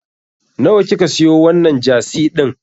Nawa ka siyo wannan Jasi din?